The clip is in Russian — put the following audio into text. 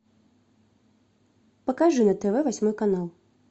покажи на тв восьмой канал